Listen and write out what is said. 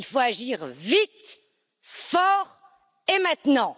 Il faut agir vite, fort et maintenant.